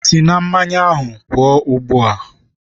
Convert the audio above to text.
Sị na mmanya ahụ pụọ ugbu a!